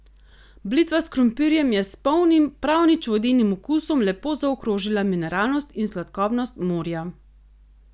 Blitva s krompirjem je s polnim, prav nič vodenim okusom lepo zaokrožila mineralnost in sladkobnost morja.